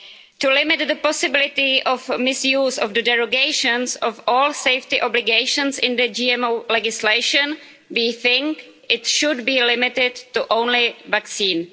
To limit the possibility of misuse of the derogations of all safety obligations in the GMO legislation, we think it should be limited to only vaccines.